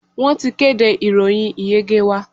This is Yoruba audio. Wọ́n ti kéde ìròyìn ìyege wa.